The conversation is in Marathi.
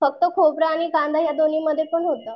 फक्त खोबर आणि कांदा ह्या दोन्हीं मध्ये पण होत.